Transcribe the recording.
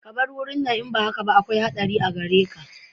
Ka bar wurin nan in ba haka ba akwai haɗari a gare ka